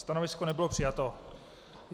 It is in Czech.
Stanovisko nebylo přijato.